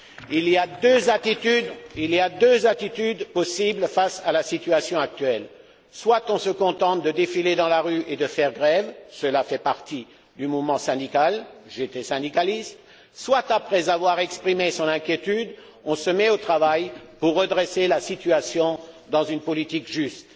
Il y a deux attitudes possibles face à la situation actuelle soit on se contente de défiler dans la rue et de faire grève cela fait partie du mouvement syndical soit, après avoir exprimé son inquiétude, on se met au travail pour redresser la situation dans une politique juste.